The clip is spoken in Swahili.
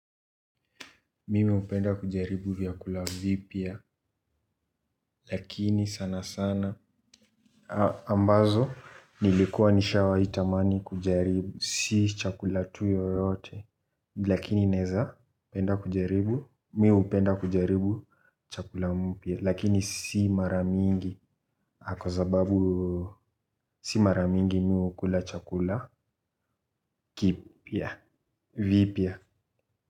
Mimi hupenda kujaribu vyakula vipya lakini sana sana ambazo nilikuwa nishawahi tamani kujaribu si chakula tu yoyote lakini naeza penda kujaribu mimi hupenda kujaribu chakula mpya lakini si mara mingi kwa sababu si mara mimgi mimi hukula chakula kipya vipya.